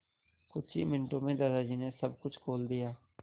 कुछ ही मिनटों में दादाजी ने सब कुछ खोल दिया